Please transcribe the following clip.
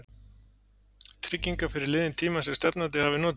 trygginga fyrir liðinn tíma sem stefnandi hafi notið?